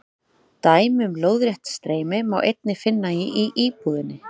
Dæmi um lóðrétt streymi má einnig finna í íbúðinni.